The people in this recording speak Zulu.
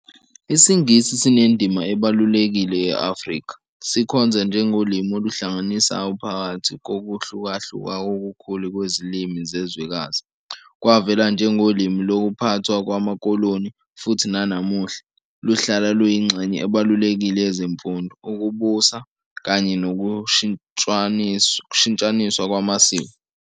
IsiNgisi sinendima ebalulekile e-Afrika, sikhonza njengolimi oluhlanganisayo phakathi kokuhlukahluka okukhulu kwezilimi zezwekazi. Kwavela njengolimi lokuphathwa kwamakoloni, futhi nanamuhla, luhlala luyingxenye ebalulekile yezemfundo, ukubusa, kanye nokushintshaniswa kwamasiko.